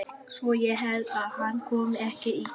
Svo ég held að hann komi ekki í dag.